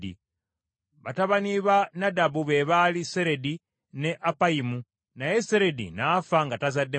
Batabani ba Nadabu be baali Seredi ne Appayimu, naye Seredi n’afa nga tazadde mwana.